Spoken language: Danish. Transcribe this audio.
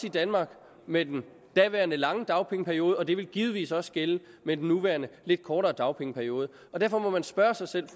i danmark med den daværende lange dagpengeperiode og det vil givetvis også gælde med den nuværende lidt kortere dagpengeperiode derfor må man spørge sig selv